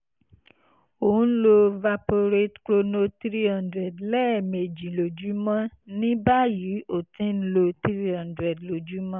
ò ń ń lo valporate chrono 300 lẹ́ẹ̀mejì lójúmọ́ ní báyìí o ti ń lo 300 lójúmọ́